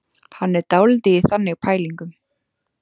Hann er dálítið í þannig pælingum.